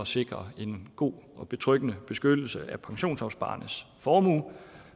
sikrer en god og betryggende beskyttelse af pensionsopsparernes formue